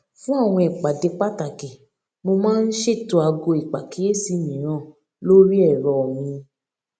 fún àwọn ìpàdé pàtàkì mo máa ń ṣètò aago ìpàkíyèsí mìíràn lórí èrọ míì